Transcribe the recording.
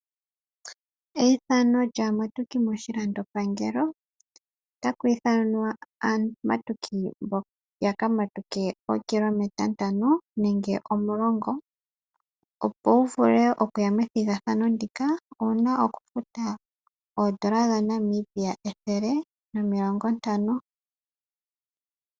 Eyithano lyaamatuki moshilandopangelo. Otaku ithanwa aamatuki ya kamatuke ookilometa ntano nenge omulongo. Opo wu vule okuya methigathano ndika owu na okufuta oondola dhaNamibia ethele nomilongo ntano.